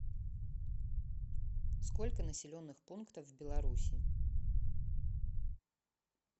сколько населенных пунктов в беларуси